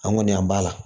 An kɔni an b'a la